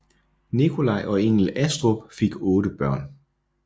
Nikolai og Engel Astrup fik otte børn